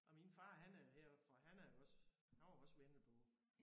Og min far han er herfra han er jo også han var også vendelbo